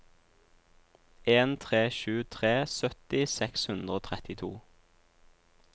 en tre sju tre sytti seks hundre og trettito